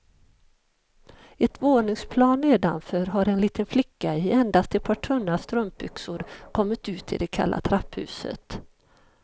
Ett våningsplan nedanför har en liten flicka i endast ett par tunna strumpbyxor kommit ut i det kalla trapphuset.